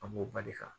An b'o ba de kan